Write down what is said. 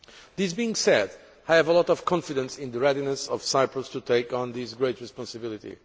This being said, I have a lot of confidence in the readiness of Cyprus to take on this great responsibility.